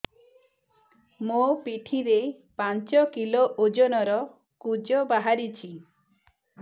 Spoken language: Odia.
ମୋ ପିଠି ରେ ପାଞ୍ଚ କିଲୋ ଓଜନ ର କୁଜ ବାହାରିଛି